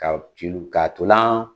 Ka celu ka ntolan